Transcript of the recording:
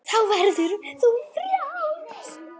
Þá verður þú frjáls.